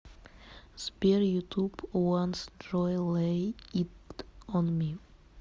сбер ютуб ванс джой лэй ит он ми